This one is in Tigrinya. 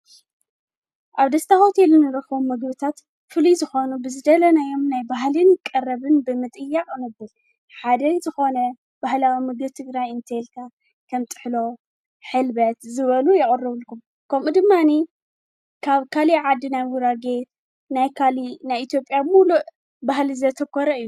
ኣብ ደስታ ሆቴል እንረኽቦም ምግብታት ፍልይ ዝኾኑ ብዝደለናዮም ናይ ባህሊን ቀረብን ብምጥያቕ ሓደ ዝኾነ ባህላዊ ምግቢ ትግራይ እንተልካ ከም ጥሕሎ ሕልበት ዝበሉ የቖርቡልኩም ከምኡ ድማኒ ካብ ካሊእ ዓዲ ናይ ጉራጌ ናይ ካሊእ ናይ ኢትዮጵያ ምሉእ ባህሊ ዘተኮረ እዩ።